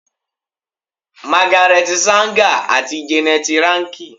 Magaret Sanger ati Jeannette Rankin